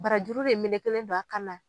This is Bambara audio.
Barajuru de melekelen don a kan na